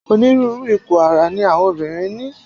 Onírúurú ipò ara ni àwọn obìnrin ní.